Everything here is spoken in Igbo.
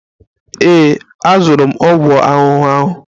Ee, azụrụ m ọgwụ ahụhụ ahụ.